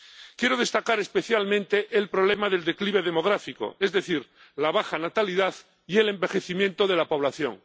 Quiero destacar especialmente el problema del declive demográfico, es decir, la baja natalidad y el envejecimiento de la población.